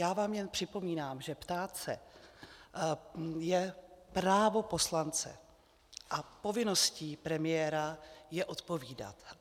Já vám jen připomínám, že ptát se je právo poslance a povinností premiéra je odpovídat.